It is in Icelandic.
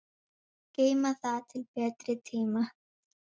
Geyma það til betri tíma.